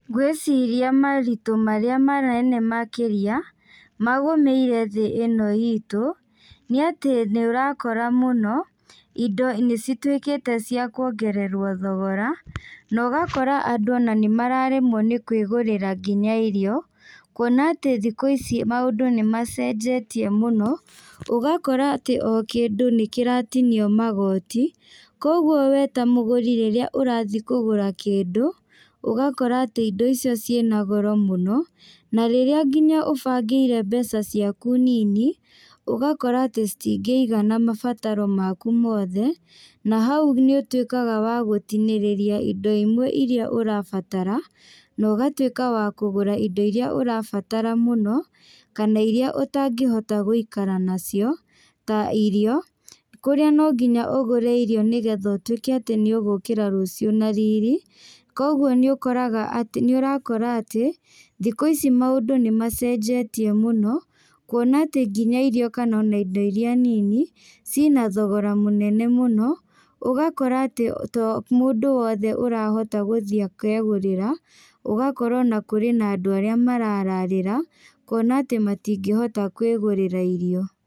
Ngwĩciria moritũ marĩa manene makĩria, magũmĩire thĩ ĩno itũ, nĩ atĩ nĩũrakora mũno, indo nĩcituĩkĩte cia kuongererwo thogora, na ũgakora andũ ona nĩmaremwo nĩ kwagũrĩra nginya irio, kuona atĩ thikũ ici maũndũ nĩmacenjetie mũno, ũgakora atĩ o kĩndũ nĩkĩratinio magoti, koguo we ta mũgũri rĩrĩa ũrathiĩ kũgũra kĩndũ, ũgakora atĩ indo icio ciĩna goro mũno, na rĩrĩa nginya ũbangĩire mbeca ciaku nini, ũgakora atĩ citingĩigana mabataro maku mothe, na hau nĩũtuĩkaga wa gũtinĩrĩria indo imwe iria ũrabatara, na ũgatuĩka wa kũgũra indo iria ũrabatara mũno, kana iria ũtangĩhota gũikara nacio, ta irio, kũrĩa no nginya ũgũre irio, nĩgetha ũtuĩke atĩ nĩũgũkĩra rũciũ na riri, koguo nĩ ũkoraga atĩ nĩũrakora atĩ, thikũ ici maũndũ nĩmacenjetie mũno, kuona atĩ nginya irio kana ona indo iria nini, ciĩna thogora mũnene mũno, ũgakora atĩ to mũndũ wothe ũrakota gũthiĩ akegũrĩra, ũgakora ona kũrĩ na andũ arĩa marararĩra, kuona atĩ matingĩhota kwĩgũrĩra irio.